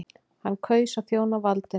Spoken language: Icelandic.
Hann kaus að þjóna valdinu.